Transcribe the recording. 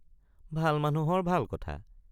ভাল মানুহৰ ভাল কথা।